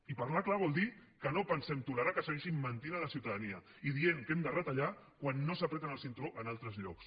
i parlar clar vol dir que no pensem tolerar que segueixin mentint a la ciutadania i dient que hem de retallar quan no s’estrenyen el cinturó en altres llocs